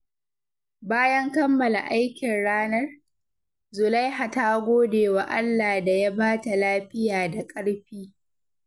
Bayan kammala aikin ranar, Zulaiha ta gode wa Allah da ya ba ta lafiya da ƙarfi.